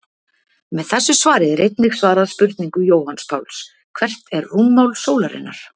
Með þessu svari er einnig svarað spurningu Jóhanns Páls: Hvert er rúmmál sólarinnar?